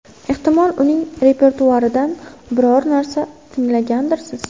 Ehtimol, uning repertuaridan biror narsa tinglagandirsiz?